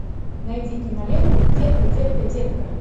найди киноленту детка детка детка